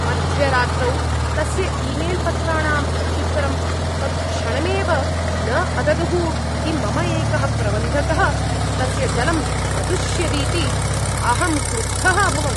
मध्यरात्रौ तस्य ईमेल् पत्राणां प्रत्युत्तरं तत्क्षणमेव न अददुः इति मम एकः प्रबन्धकः तस्य दलम् अदुष्यदिति अहं क्रुद्धः अभवम्।